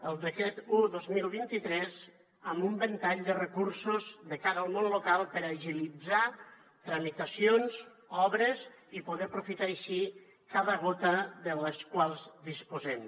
el decret un dos mil vint tres amb un ventall de recursos de cara al món local per agilitzar tramitacions obres i poder aprofitar així cada gota de la qual disposem